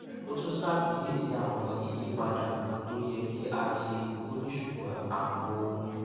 ó tún ṣàkíyèsí àwọn ìyípadà kan tó yẹ kí a ṣe ó ní ṣùgbón àwọn ohun